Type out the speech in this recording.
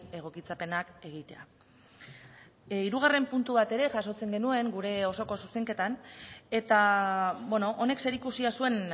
egokitzapenak egitea hirugarren puntu bat ere jasotzen genuen gure osoko zuzenketan eta honek zerikusia zuen